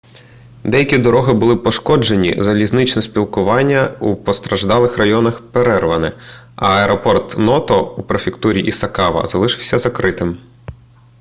деякі дороги були пошкоджені залізничне сполучення у постраждалих районах перерване а аеропорт ното у префектурі ісікава залишається закритим